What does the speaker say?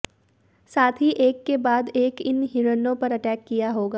साथ ही एक के बाद एक इन हिरणों पर अटैक किया होगा